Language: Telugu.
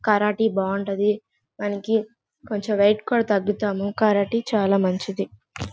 కరాటే బాగుంటది దానికి కొంచెం వెయిట్ కూడా తగ్గుతాము. కరాటే చాలా మంచిది.